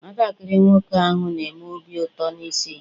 Nwatakịrị nwoke ahụ na-enwe obi ụtọ n'ise ihe.